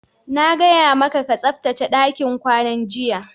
Na gaya maka ka tsaftace dakin kwanan, jiya!